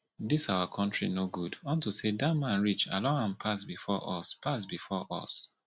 dis our country no good unto say dat man rich they allow am pass before us pass before us